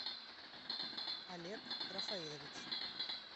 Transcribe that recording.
олег рафаилович